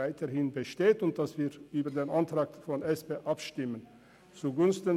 Wir gehen davon aus, dass wir über den Antrag der SP-JUSO-PSA-Fraktion abstimmen werden.